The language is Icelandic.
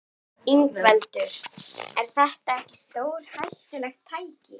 Ingveldur: Er þetta ekki stórhættulegt tæki?